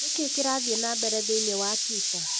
Nĩ kĩĩ kĩrathiĩ na mbere thĩinĩ wa Twitter?